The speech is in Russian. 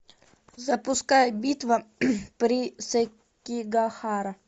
запускай битва при сэкигахара